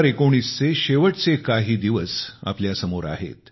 2019 चे शेवटचे काही दिवस आपल्या समोर आहेत